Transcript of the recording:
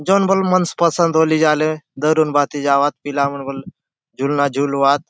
जो न बले मन पसंद होली झाले धरून भांति जाऊआत पीला मन बले झुलना झुलुआत।